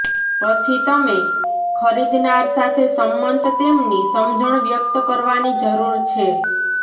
પછી તમે ખરીદનાર સાથે સંમત તેમની સમજણ વ્યક્ત કરવાની જરૂર છે